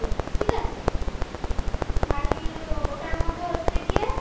ঠিক আছে ভারী ওটার মধ্যে হচ্ছে কি কি ওটার মধ্যে কি